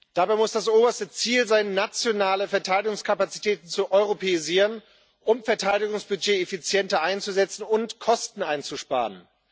Dabei muss das oberste Ziel sein, nationale Verteidigungskapazitäten zu europäisieren, um das Verteidigungsbudget effizienter einzusetzen und Kosten einzusparen.